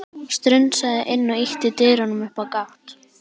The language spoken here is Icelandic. Strunsaði inn og ýtti dyrunum upp á gátt.